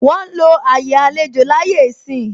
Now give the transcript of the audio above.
Wọn ń lo àyè àlejò láyé ìsín.